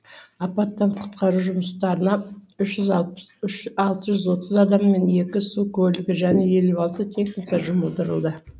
апаттан құтқару жұмыстарына алты жүз отыз адам мен екі су көлігі және елу алты техника жұмылдырылды